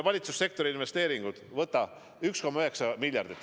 Valitsussektori investeeringud: 1,9 miljardit.